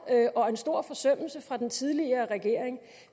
og en stor forsømmelse fra den tidligere regering